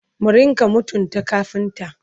mu rinka mutunta kafinta!